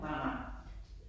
Nej nej